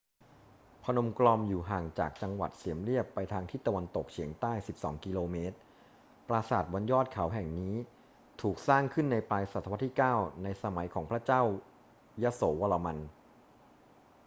พนมกรอมอยู่ห่างจากจังหวัดเสียมเรียบไปทางทิศตะวันตกเฉียงใต้ 12 กม. ปราสาทบนยอดเขาแห่งนี้ถูกสร้างขึ้นในปลายศตวรรษที่ 9 ในสมัยของพระเจ้ายโสวรมัน